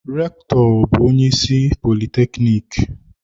Rektọ bu onye isi politekniki.